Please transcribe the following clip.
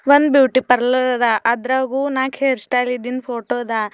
One beauty parlour ಅದ ಅದ್ರಾಗು ನಾಕ್ ಹೇರ್ ಸ್ಟೈಲ್ ಇದ್ದಿಂದ ಫೋಟೋ ಅದ.